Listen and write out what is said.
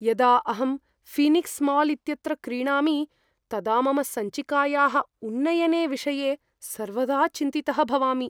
यदा अहं Phoenix mall इत्यत्र क्रीणामि तदा मम सञ्चिकायाः उन्नयने विषये सर्वदा चिन्तितः भवामि।